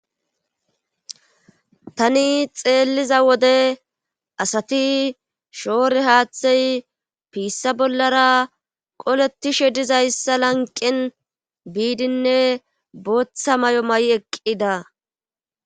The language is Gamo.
tani xeelliza wode asati shoore haaththey piissa bollara qoletishe dizayssa lanqen biidinne bootha may7o may7i eqqida